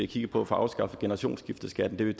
kigge på at få afskaffet generationsskifteskatten det